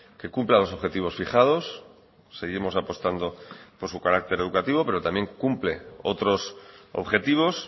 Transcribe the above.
que cumpla los objetivos fijados seguimos apostando por su carácter educativo pero también cumple otros objetivos